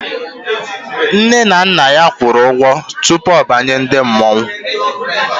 Nne na Nna ya kwuru ụgwọ tupu ọ banyere ndị mmọnwụ